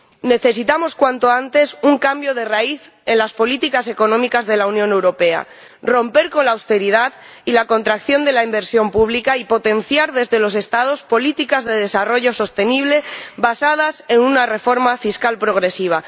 Necesitamos cuanto antes un cambio de raíz en las políticas económicas de la Unión Europea, romper con la austeridad y la contracción de la inversión pública y potenciar desde los Estados políticas de desarrollo sostenible basadas en una reforma fiscal progresiva.